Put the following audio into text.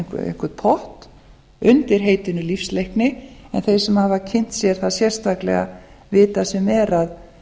einhvern pott undir heitinu lífsleikni en þeir sem hafa kynnt sér það sérstaklega vita sem er